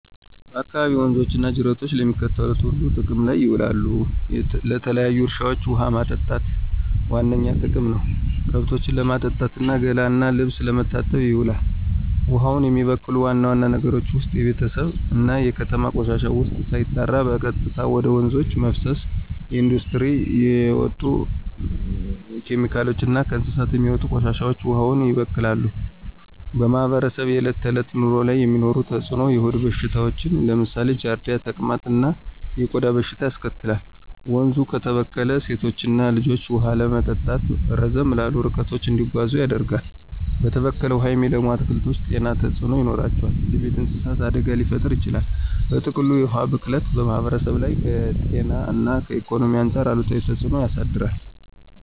በአካባቢዎ ወንዞች እና ጅረቶች ለሚከተሉት ሁሉ ጥቅም ላይ ይውላሉ -ለተለያዩ እርሻዎች ውሃ ማጠጣት ዋነኛ ጥቅም ነው፣ ከብቶችን ለማጠጣት እና ገላ እና ልብስ ለመታጠብ ይውላል። ውሃውን የሚበክሉ ዋና ዋና ነገሮች ውስጥ የቤተሰብ እና የከተማ ቆሻሻ ውሃ ሳይጣራ በቀጥታ ወደ ወንዞች መፍሰስ፣ የኢንዱስትሪ የሚወጡ ኬሚካሎች እና ከእንስሳት የሚወጡ ቆሻሻዎች ውሃውን ያበክላሉ። በማህበረሰቡ የዕለት ተዕለት ኑሮ ላይ የሚኖረው ተጽዕኖ -የሆድ በሽታዎች (ለምሳሌ ጃርዲያ፣ ተቅማጥ) እና የቆዳ በሽታዎች ያስከትላል፣ ወንዙ ከተበከለ ሴቶችና ልጆች ውሃ ለማምጣት ረዘም ላሉ ርቀቶች እንዲጓዙ ያደርጋል፣ በተበከለ ውሃ የሚለሙ አትክልቶች ጤና ተጽዕኖ ይኖራቸዋል፣ ለቤት እንስሳት አደጋ ሊፈጥር ይችላል። በጥቅሉ፣ የውሃ ብክለት በማህበረሰቡ ላይ ከጤና እና ኢኮኖሚ አንጻር አሉታዊ ተጽዕኖ ያሳድራል።